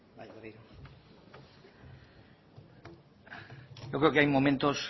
yo creo que hay momentos